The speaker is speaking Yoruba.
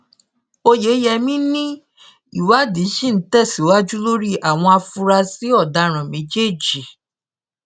oyeyẹmí ni ìwádìí ṣì ń tẹsíwájú lórí àwọn afurasí ọdaràn méjèèjì